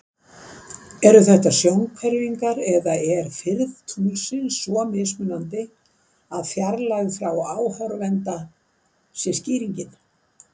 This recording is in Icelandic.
Eru þetta sjónhverfingar eða er firð tunglsins svo mismunandi að fjarlægð frá áhorfanda sé skýringin?